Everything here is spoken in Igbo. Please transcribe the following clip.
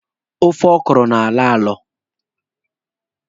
Ofe ọkọrọ na-alọ alọ.